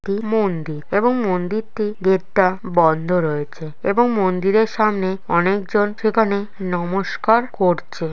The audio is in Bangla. মন্দির এবং মন্দিরটি গেট টা বন্ধ রয়েছে এবং মন্দিরের সামনে অনেক জন সেখানে নমস্কার করছে।